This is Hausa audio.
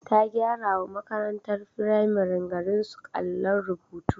Ta gyarawa makarantar firamaren garinsu allon rubutu.